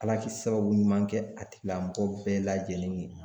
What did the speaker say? Ala k'i sababu ɲuman kɛ a tigilamɔgɔ bɛɛ lajɛlen ye.